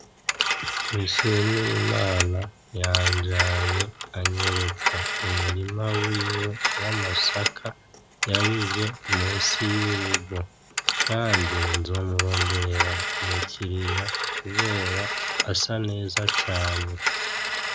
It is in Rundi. Nshimirimana yanjanye anyereka umurima wiwe w'amasaka yabivye munsi y'urugo kandi nzomuronderera umukiriya kubera asa neza cane.